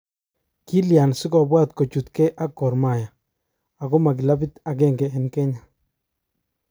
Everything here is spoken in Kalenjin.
Kilyan sikobwat kochutge ak Gor Mahia, akoma kilabut agenge en kenya?